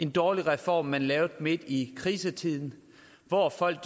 dårlig reform man lavede midt i en krisetid hvor folk